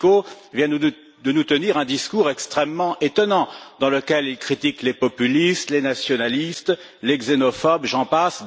Fico vient de nous tenir un discours extrêmement étonnant dans lequel il critique les populistes, les nationalistes, les xénophobes, et j'en passe.